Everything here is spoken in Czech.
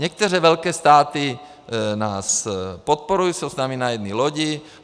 Některé velké státy nás podporují, jsou s námi na jedné lodi.